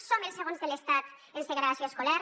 som els segons de l’estat en segregació escolar